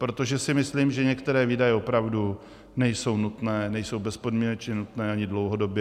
Protože si myslím, že některé výdaje opravdu nejsou nutné, nejsou bezpodmínečně nutné ani dlouhodobě.